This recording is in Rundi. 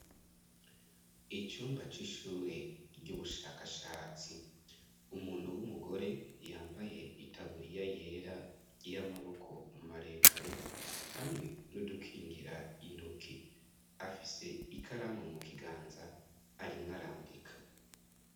Icumba c'ishure ry'ubushakashatsi umuntu w'umugore yambaye itaburiya yera y' amaboko umaremare hamwe n'udukingira intoke afise ikaramu mu kiganza arimwo arandika.